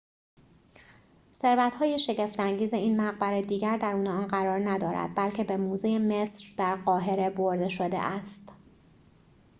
ثروت‌های شگفت انگیز این مقبره دیگر درون آن قرار ندارد بلکه به موزه مصر در قاهره برده شده است